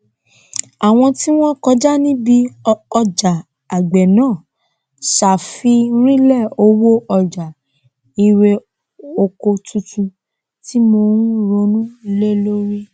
àwọn tí wọn kọjá níbí ọjà àgbẹ náà sàfírìnlẹ owó ọjà irè oko tuntun tí mò ń ronú lé lórí